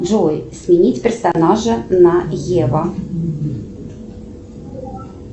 джой сменить персонажа на ева